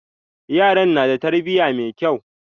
Yaran na da tarbiya mai kyau.